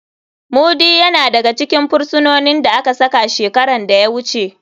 Mudi yana daga cikin firisinonin da aka saka shekaran da ya wuce.